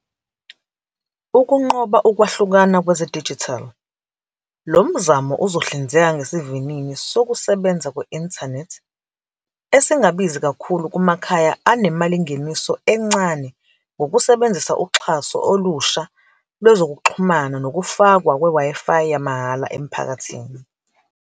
Ukunqoba ukwahlukana kwezedijithali, lo mzamo uzohlinzeka ngesivinini sokusebenza kwe-inthanethi, esingabizi kakhulu kumakhaya anemalingeniso encane ngokusebenzisa uxhaso olusha lwezokuxhumana nokufakwa kwe-WiFi yamahhala emphakathini.